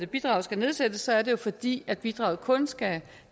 bidraget skal nedsættes er det jo fordi bidraget kun skal